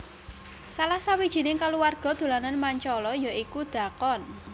Salah sawijining kaluwarga dolanan Mancala ya iku dhakon